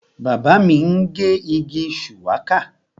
Bàbá mi ń gé igi shuwaka